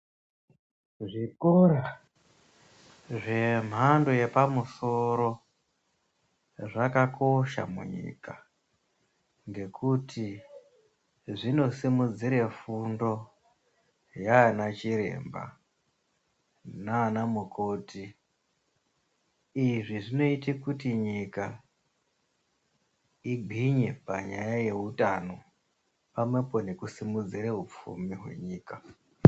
Zvikora zvemhando yepamusoro zvakakosha munyika, ngekuti zvinosimudzire fundo yaana chiremba nanamukoti uyezve zvinoite kuti nyika igwinye panyaya yeutano pamwepo nekusimudzira upfumi hwenyika.